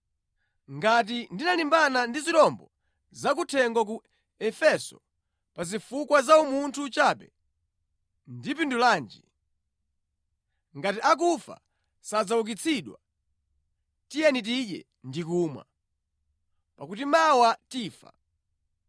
Ngati ndinalimbana ndi zirombo za kuthengo ku Efeso pa zifukwa za umunthu chabe, ndapindulanji? Ngati akufa sadzaukitsidwa, “Tiyeni tidye ndi kumwa, pakuti mawa tifa.”